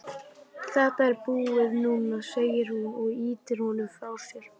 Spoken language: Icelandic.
Þetta er búið núna, segir hún og ýtir honum frá sér.